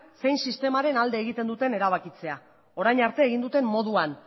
zein sistemaren alde egiten duten erabakitzea orain arte egin duten moduan